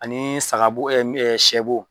Anii sagabo ɛ ni ɛ sɛbo